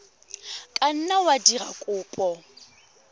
ka nna wa dira kopo